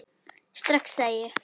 Strax, sagði ég.